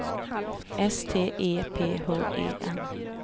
S T E P H E N